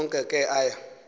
onke ke aya